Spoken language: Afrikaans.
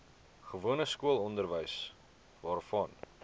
gewone skoolonderwys waarvan